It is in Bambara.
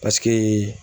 Paseke